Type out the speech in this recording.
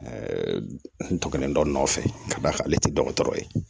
n tɔkɔnen dɔ nɔfɛ ka d'a kan ale tɛ dɔgɔtɔrɔ ye